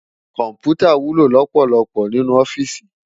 Kòmpútá wúló lòpòlòpò ninú òfìsí